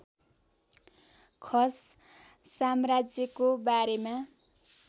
खस साम्राज्यको बारेमा